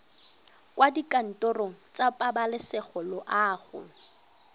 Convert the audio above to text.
kwa dikantorong tsa pabalesego loago